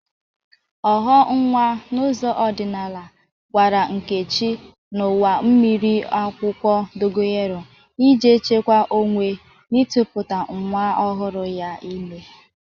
Ọghọ nwa n'ụzọ ọdịnaala gwara Nkechi ñụwa miri akwụkwọ dogoyaro ije chekwa onwe n'ịtụkputa nwa ọhụrụ ya ime.